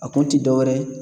A kun ti dɔwɛrɛ ye